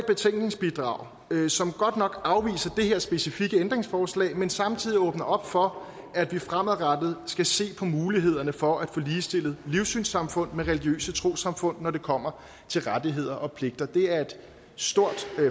betænkningsbidrag som godt nok afviser det her specifikke ændringsforslag men samtidig åbner op for at vi fremadrettet skal se på mulighederne for at få ligestillet livssynssamfund med religiøse trossamfund når det kommer til rettigheder og pligter det er et stort